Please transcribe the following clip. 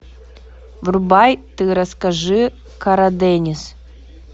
врубай ты расскажи карадениз